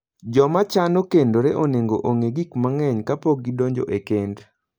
Joma chano kendore onego ong'e gik mang'eny kapok gidonjo e kend.